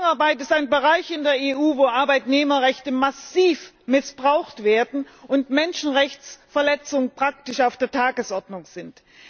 Saisonarbeit ist ein Bereich in der EU, wo Arbeitnehmerrechte massiv missbraucht werden und Menschenrechtsverletzungen praktisch an der Tagesordnung sind.